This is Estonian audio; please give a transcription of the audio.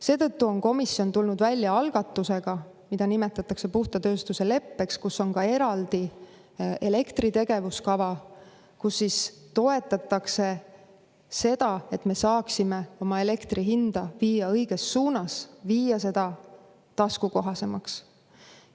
Seetõttu on komisjon tulnud välja algatusega, mida nimetatakse puhta tööstuse leppeks, kus on eraldi elektritegevuskava, kus toetatakse seda, et me saaksime oma elektri hinda viia õiges suunas, viia seda taskukohasemaks.